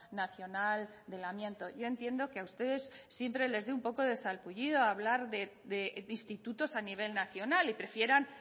nacional del amianto yo entiendo que a ustedes siempre les dé un poco sarpullido hablar de institutos a nivel nacional y prefieran